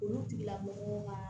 Olu tigilamɔgɔw ka